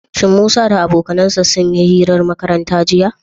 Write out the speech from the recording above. Shin Musa da abokansa sun yi hirar makaranta, jiya?